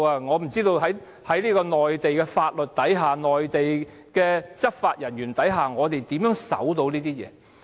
我不知道在內地法律和內地執法人員面前，我們可以怎樣遵守這些公約。